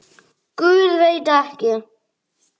Guð, veit ekki.